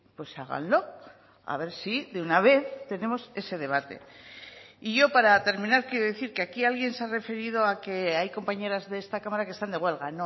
pues háganlo a ver si de una vez tenemos ese debate y yo para terminar quiero decir que aquí alguien se ha referido a que hay compañeras de esta cámara que están de huelga